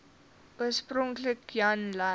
oorspronklik jan lui